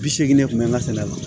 Bi seegin de kun bɛ n ka sɛnɛ la